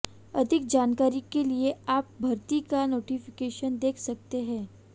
अधिक जानकारी के लिए आप भर्ती का नोटिफिकेशन देख सकते है